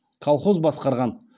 колхоз басқарған